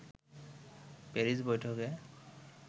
Paris বৈঠকে